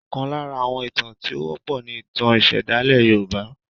Ọkàn lára àwọn ìtàn tí o wọ́pọ̀ ní ìtàn ìsèdálẹ̀ yorùbá.